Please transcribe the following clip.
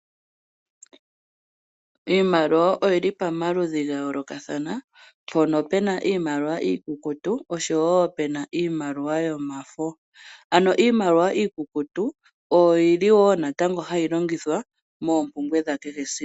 Iimaliwa oyili pamaludhi ga yoolokathana. Mpono pu na iimaliwa iikukutu osho wo iimaliwa yomafo. Ano iimaliwa iitukutuku oyo yi li wo hayi longithwa moompumbwe dha kehe esiku.